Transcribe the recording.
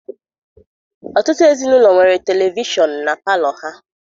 Ọtụtụ ezinaụlọ nwere televishọnụ na palọ ha.